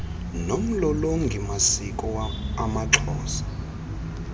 nomlolongi masiko amaxhosa